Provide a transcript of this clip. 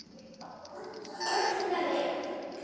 Burt með þig.